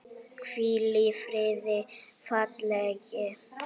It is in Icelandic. Hvíl í friði félagi.